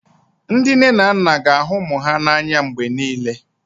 Ndị nne na nna ga na-ahụ ụmụ ha n'anya mgbe niile